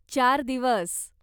चार दिवस.